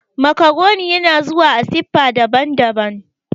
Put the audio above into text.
Macaroni yana zuwa a siffa daban-daban